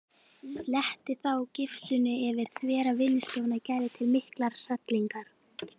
Sletti þá gifsinu yfir þvera vinnustofuna Gerði til mikillar hrellingar.